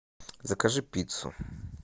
закажи пиццу